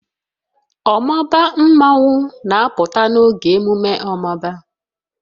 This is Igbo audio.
Omaba mmanwu na-apụta n'oge ememme omaba